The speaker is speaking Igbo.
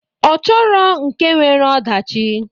Ọ chọrọ nke nwere ọdachi.